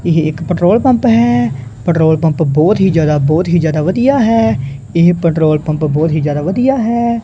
ਇਹ ਇੱਕ petrol pump ਹੈ ਪੈਟਰੋਲ ਪੰਪ ਬਹੁਤ ਹੀ ਜਿਆਦਾ ਬਹੁਤ ਹੀ ਜਿਆਦਾ ਵਧੀਆ ਹੈ ਇਹ ਪੈਟਰੋਲ ਪੰਪ ਬਹੁਤ ਹੀ ਜਿਆਦਾ ਵਧੀਆ ਹੈ।